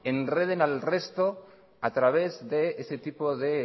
enreden al resto a través de ese tipo de